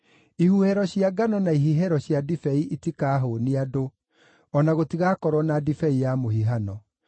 Ihuhĩro cia ngano na ihihĩro cia ndibei itikahũũnia andũ, o na gũtigakorwo na ndibei ya mũhihano.